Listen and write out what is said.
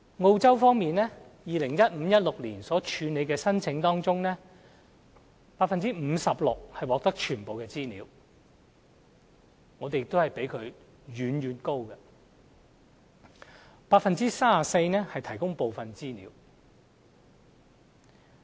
澳洲方面，在 2015-2016 年度所處理的申請中，有 56% 獲提供全部的資料，我們的數字亦遠遠比它高 ；34% 獲提供部分資料。